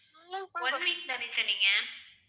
one week தானே சொன்னீங்க